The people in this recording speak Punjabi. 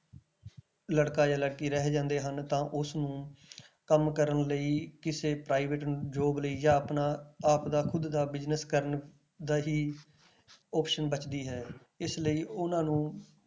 ਲੜਕਾ ਜਾਂ ਲੜਕੀ ਰਹਿ ਜਾਂਦੇ ਹਨ ਤਾਂ ਉਸਨੂੰ ਕੰਮ ਕਰਨ ਲਈ ਕਿਸੇ private job ਲਈ ਜਾਂ ਆਪਣਾ ਆਪ ਦਾ ਖੁੱਦ ਦਾ business ਕਰਨ ਦਾ ਹੀ option ਬਚਦੀ ਹੈ ਇਸ ਲਈ ਉਹਨਾਂ ਨੂੰ,